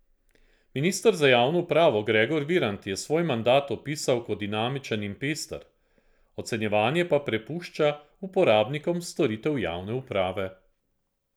Minister za javno upravo Gregor Virant je svoj mandat opisal kot dinamičen in pester, ocenjevanje pa prepušča uporabnikom storitev javne uprave.